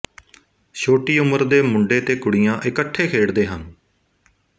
ਛੋਟੀ ਉਮਰ ਦੇ ਮੁੰਡੇ ਤੇ ਕੁੜੀਆਂ ਇੱਕਠੇ ਖੇਡਦੇ ਹਨ